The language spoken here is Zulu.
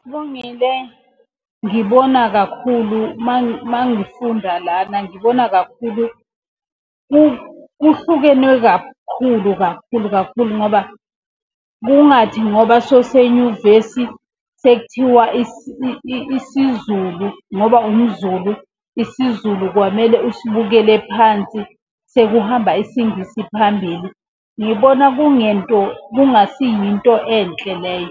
Sibongile, ngibona kakhulu mangifunda lana ngibona kakhulu kuhlukenwe kakhulu kakhulu kakhulu ngoba, kungathi ngoba sowusenyuvesi, sekuthiwa isiZulu ngoba umZulu isiZulu kwamele usibukele phansi sekuhamba isingisi phambili. Ngibona kungento kungasiyinto enhle leyo.